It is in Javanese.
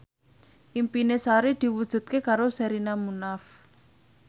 impine Sari diwujudke karo Sherina Munaf